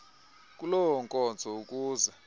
kuloo nkonzo ukuze